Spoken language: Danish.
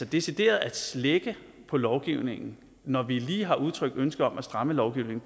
decideret at slække på lovgivningen når vi lige har udtrykt ønske om at stramme lovgivningen